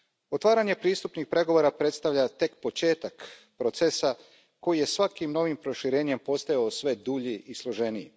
Otvaranje pristupnih pregovora predstavlja tek početak procesa koji je svakim novim proširenjem postajao sve dulji i složeniji.